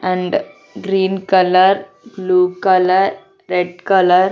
and green colour blue colour red colour --